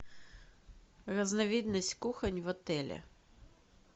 разновидность кухонь в отеле